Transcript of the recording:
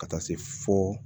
Ka taa se fo